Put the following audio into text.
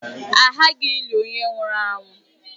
A ghaghị ịli onye nwụrụ anwụ.